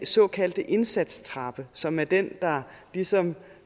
såkaldte indsatstrappe som er den der ligesom